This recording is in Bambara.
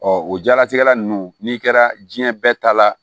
o jalatigɛla nunnu n'i kɛra diɲɛ bɛɛ ta la